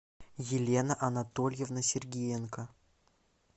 елена анатольевна сергиенко